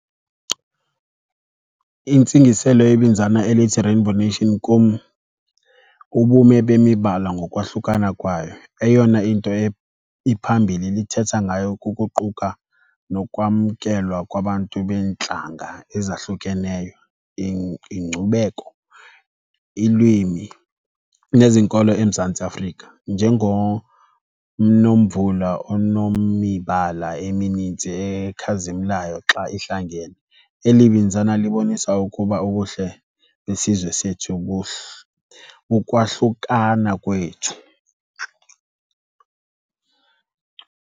Intsingiselo yebinzana elithi rainbow nation kum ubume bemibala ngokwahlukana kwayo. Eyona into iphambili lithetha ngayo kukuquka nokwamkelwa kwabantu beentlanga ezahlukeneyo, inkcubeko, iilwimi nezinkolo eMzantsi Afrika njengonomvula onomibala emininzi ekhazimlayo xa ihlangene. Eli binzana libonisa ukuba ubuhle besizwe sethu kukwahlukana kwethu.